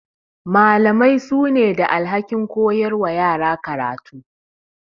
Malamai su ne da alhakin koyar wa yara karatu.